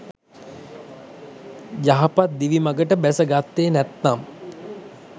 යහපත් දිවි මඟට බැස ගත්තේ නැත්නම්